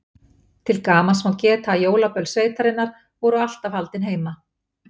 Til gamans má geta að jólaböll sveitarinnar voru alltaf haldin heima.